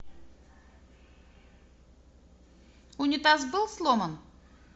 унитаз был сломан